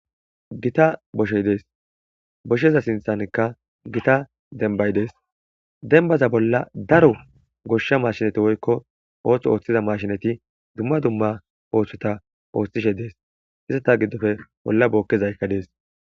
Gita boshey dees boshsheza sinthankka gita denbay dees denbaza bolla daro goshsha mashinati woykko ootho ooththiza mashinati dumma dumma ooththota ooththishe dees izata giddofe bolla bookkezaykka dees.